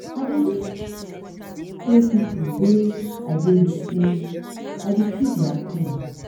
i dey use show pipo wey i dey wit sey i dey feel their pain.